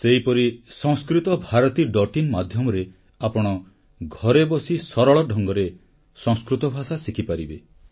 ସେହିପରି samskritabharatiin ମାଧ୍ୟମରେ ଆପଣ ଘରେ ବସି ସରଳ ଢଙ୍ଗରେ ସଂସ୍କୃତ ଭାଷା ଶିଖିପାରିବେ